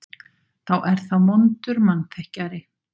Þá er það vondur mannþekkjari.